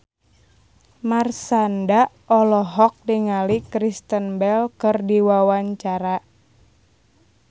Marshanda olohok ningali Kristen Bell keur diwawancara